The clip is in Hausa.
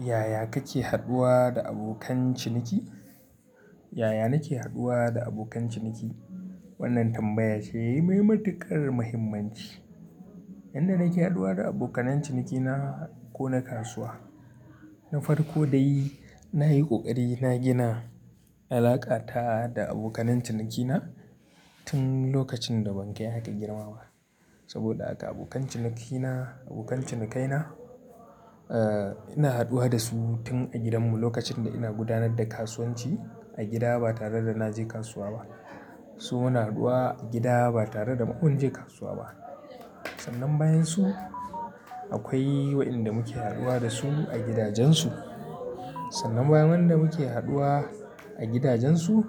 Yaya kake haɗuwa da abokan ciniki? Yaya nake haɗuwa da abokan ciniki? Wannan tambaya ce mai matuƙar mahimmanci. Yanda nake haɗuwa da abokan ciniki na ko na kasuwa, na farko dai na yi ƙoƙari na gina alaƙa ta da abokan cinikina tun lokacin da ban kai haka girmama. Saboda haka abokan cinikina, abokan cinikaina, eh ina haɗuwa da su tun a gidanmu lokacin da ina gudanar da kasuwanci a gida ba tare da na je kasuwa ba. Su muna haɗuwa a gida ba tare da mu wanje kasuwa ba. Sannan bayan su akwai waɗanda muke haɗuwa da su a gidajensu. Sannan bayan waɗanda muke haɗuwa a gidajensu,